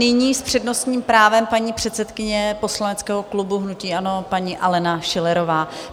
Nyní s přednostním právem paní předsedkyně poslaneckého klubu hnutí ANO paní Alena Schillerová.